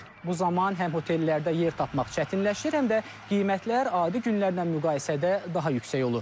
Bu zaman həm otellərdə yer tapmaq çətinləşir, həm də qiymətlər adi günlərlə müqayisədə daha yüksək olur.